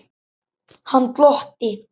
Hann glotti.